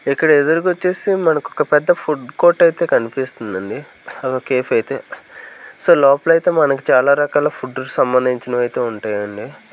ఇక్కడ ఎదురుగా వచ్చేసి మనక ఒక పెద్ద ఫుడ్ కోట్ అయితే కనిపిస్తుందండి ఒక కేఫ్ అయితే సో లోపల అయితే మనకి చాలా రకాల ఫుడ్ సంబంధించినవి అయితే ఉంటాయండి.